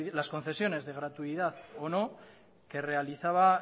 las concesiones de gratuidad o no que realizaba